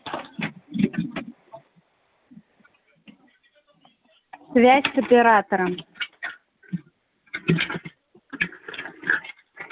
связь с оператором